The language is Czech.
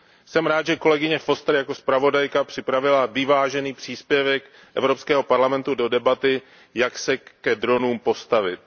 Jsem rád, že kolegyně Fosterová jako zpravodajka připravila vyvážený příspěvek Evropského parlamentu do debaty, jak se ke dronům postavit.